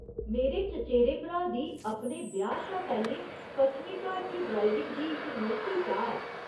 मेरे चचेरे भ्राऽ दी अपने ब्याह् शा पैह्‌लें पच्छमी घाट च ड्राइविंग दी एह् नोखी चाह् ऐ।